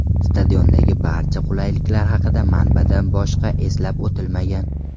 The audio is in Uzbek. Stadiondagi barcha qulayliklar haqida manbada boshqa eslab o‘tilmagan.